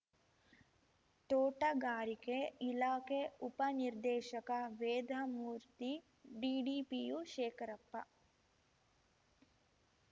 ತೋಟಗಾರಿಕೆ ಇಲಾಖೆ ಉಪ ನಿರ್ದೇಶಕ ವೇದಮೂರ್ತಿ ಡಿಡಿಪಿಯು ಶೇಖರಪ್ಪ